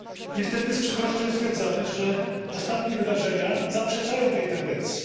Niestety z przykrością stwierdzamy, że ostatnie wydarzenia zaprzeczają tej tendencji.